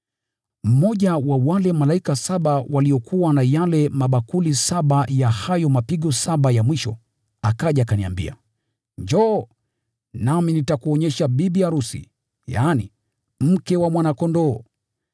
Mmoja wa wale malaika saba waliokuwa na yale mabakuli saba ya hayo mapigo saba ya mwisho akaja akaniambia, “Njoo, nami nitakuonyesha bibi arusi, yaani, mke wa Mwana-Kondoo.”